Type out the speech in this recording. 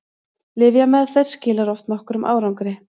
lyfjameðferð skilar oft nokkrum árangri